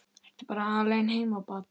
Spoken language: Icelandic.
Ertu bara alein heima barn?